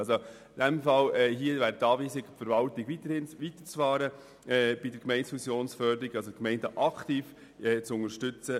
In diesem Fall lautet die Anweisung an die Verwaltung, mit der Förderung der Gemeindefusionen weiterzufahren und die Gemeinden aktiv bei ihren Abklärungen zu unterstützen.